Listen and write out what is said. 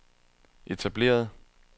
etablerede